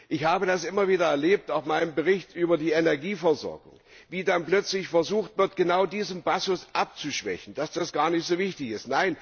Ich habe das immer wieder erlebt auch bei meinem Bericht über die Energieversorgung wie dann plötzlich versucht wird, genau diesen Passus abzuschwächen, mit dem Argument, dass das gar nicht so wichtig sei.